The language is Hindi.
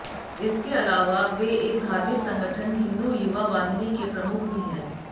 इसके अलावा वे एक धार्मिक संगठन हिंदू युवा वाहिनी के प्रमुख भी हैं